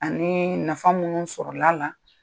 Ani nafa minnu sɔrɔla la